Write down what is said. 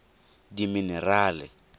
diminerale